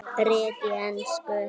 Rit á ensku